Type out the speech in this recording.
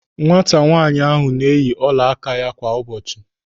Nwata nwaanyị ahụ na-eyi ọla áká ya kwa ụbọchị.